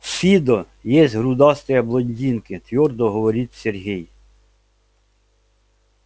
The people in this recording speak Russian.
в фидо есть грудастые блондинки твёрдо говорит сергей